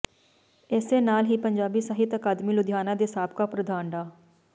ਏਸੇ ਨਾਲ ਹੀ ਪੰਜਾਬੀ ਸਾਹਿਤ ਅਕਾਦਮੀ ਲੁਧਿਆਣਾ ਦੇ ਸਾਬਕਾ ਪ੍ਰਧਾਨ ਡਾ